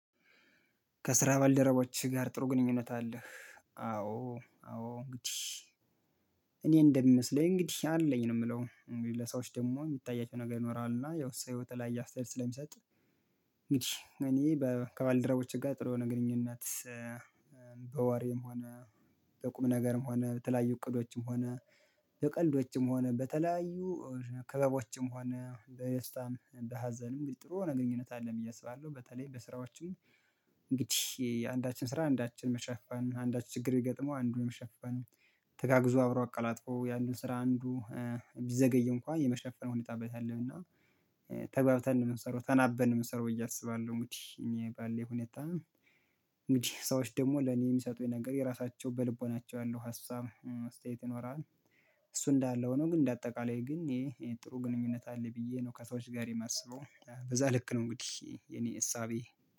ከስራ ባልደረቦችህ ጋር ጥሩ ግንኙነት አለህ? አዎ አዎ እንግዲህ እኔ እንደሚመስለኝ እንግዲህ አለኝ ነው የምለው እንግዲህ ለሰዎች ደግሞ የሚታያቸው ነገር ይኖራል እና ያው ሰው ህይወት ላይ አሰተያየት ስለሚሰጥ። እንግዲህ እኔ ከባልድራቦቼ ጋር ጥሩ የሆነ ግንኙነት በዋሪም ሆነ በቁምነገርም ሆነ በተለያዩ እቅዶችም ሆነ በቀልዶችም ሆነ በተለያዩ ክበቦችም ሆነ በደስታም በሀዘንም ጥሩ የሆነ ግንኙነት አለን ብዬ አስባለሁ በተለይ በስራዎችም። እንግዲህ አንዳችን ስራ አንዳችን መሸፈን አንዳች ችግር ቢገጠመው አንዱን መሸፈን ተጋግዞ አብሮ አቀላጥፎ ያንን ስራ አንዱ ቢዘገይ እንኳን የመሸፈን ሁኔታ አይበታአለሁና ተግባብተን ነው የምንሰራው ተናበን ነው የምንሰራው ብየ እያሰባለሁ እንግዲህ እኔ ባለኝ ሁኔታ። እንግዲህ ሰዎች ደግሞ ለኔ የሚሰጡኝ ነገር የራሳቸው በልቦናቸው ያለው ሀሳብ አስተያየት ይኖራል። እሱ እንዳለ ሁኖ ግን እንደ አጠቃላይ ግን ይሄ ጥሩ ግንኙነት አለ ብዬ ነው ከሰዎች ጋር የማስበው በዛ ልክ ነው እንግዲህ የኔ እሳቤ